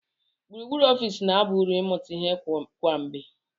Gburugburu ọfịs na-aba uru ịmụta ihe kwa mgbe.